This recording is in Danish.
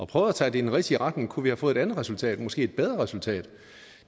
prøvet at tage det i den rigtige retning kunne have fået et andet resultat og måske et bedre resultat